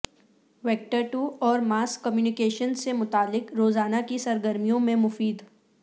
وکترتو اور mass communication سے متعلق روزانہ کی سرگرمیوں میں مفید